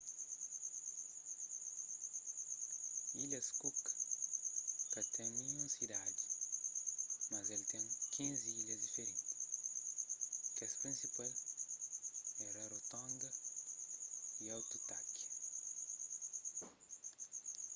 ilhas cook ka ten ninhun sidadi mas el ten 15 ilhas diferenti kes prinsipal é rarotonga y aitutaki